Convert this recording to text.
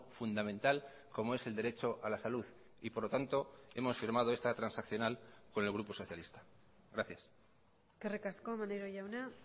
fundamental como es el derecho a la salud y por lo tanto hemos firmado esta transaccional con el grupo socialista gracias eskerrik asko maneiro jauna